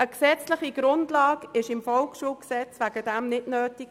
Eine gesetzliche Grundlage im VSG war dafür nicht notwendig.